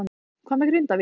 Hvað með Grindavík?